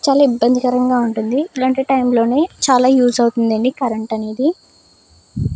చాలా ఇబ్బందికరంగా ఉంటుంది ఇలాంటి టైం లోనే చాలా యూజ్ అవుతుంద అండి కరెంట్ అనేది.